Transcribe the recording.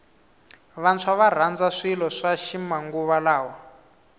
vantshwa varandza swilo swa ximanguva lawa